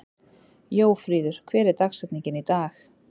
Jóríður, hver er dagsetningin í dag?